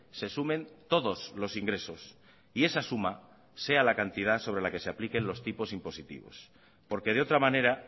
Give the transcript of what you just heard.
se sumen todos los ingresos y esa suma sea la cantidad sobre la que se apliquen los tipos impositivos porque de otra manera